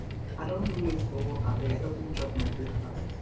i don do late for work abeg help me chop my breakfast